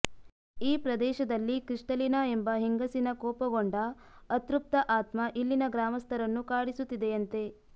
ಈ ಪ್ರದೇಶದಲ್ಲಿ ಕ್ರಿಸ್ಟಲಿನಾ ಎಂಬ ಹೆಂಗಸಿನ ಕೋಪಗೊಂಡ ಅತೃಪ್ತ ಆತ್ಮ ಇಲ್ಲಿನ ಗ್ರಾಮಸ್ಥರನ್ನು ಕಾಡಿಸುತ್ತಿದೆಯಂತೆ